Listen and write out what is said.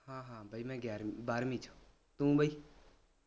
ਹਾਂ ਹਾਂ ਬਾਈ ਮੈਂ ਗਿਆਰਵੀਂ ਬਾਰਵੀ ਵਿਚ ਤੂੰ ਬਾਈ